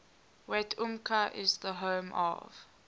wetumpka is the home of